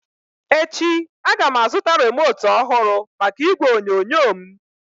Echi a ga m azụta remote ọhụrụ maka igwe onyonyo m